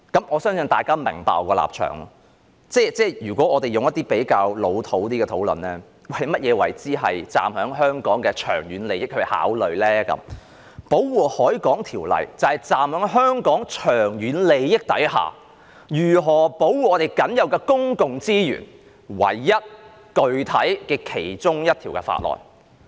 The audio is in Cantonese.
我相信大家也明白我的立場，如果我們提出一些較"老土"的論點，即是所謂基於香港長遠利益去考慮，《條例》就是站在香港長遠利益之上，如何保護我們僅有的公共資源唯一一項具體的法案。